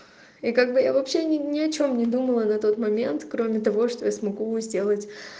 и как бы я вообще ни ни о чем не думала на тот момент кроме того что я смогу сделать